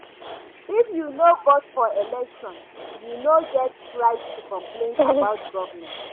If you no vote for election, you no get right to complain about government.